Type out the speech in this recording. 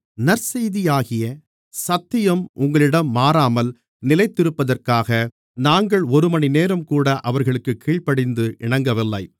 நற்செய்தியாகிய சத்தியம் உங்களிடம் மாறாமல் நிலைத்திருப்பதற்காக நாங்கள் ஒருமணிநேரம் கூட அவர்களுக்குக் கீழ்ப்படிந்து இணங்கவில்லை